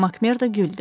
Makmerda güldü.